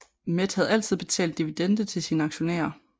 Met havde altid betalt dividende til sine aktionærer